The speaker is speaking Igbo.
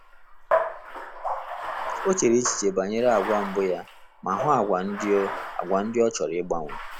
O chere echiche banyere agwa mbụ ya ma hụ agwa ndị o agwa ndị o chọrọ igbanwe